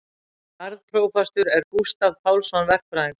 Garðprófastur er Gústav Pálsson verkfræðingur.